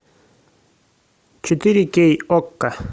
четыре кей окко